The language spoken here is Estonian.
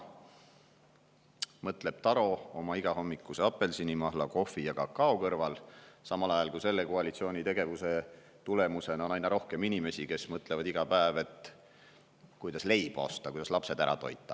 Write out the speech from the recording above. Nii mõtleb Taro oma igahommikuse apelsinimahla, kohvi ja kakao kõrval, samal ajal kui selle koalitsiooni tegevuse tulemusena on aina rohkem inimesi, kes mõtlevad iga päev, kuidas leiba osta, kuidas lapsed ära toita.